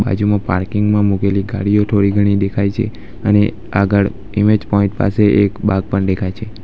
બાજુમાં પાર્કિંગ માં મૂકેલી ગાડીઓ થોડી ઘણી દેખાય છે અને આગળ ઈમેજ પોઇન્ટ પાસે એક બાગ પણ દેખાય છે.